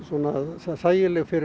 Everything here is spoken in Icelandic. þægileg fyrir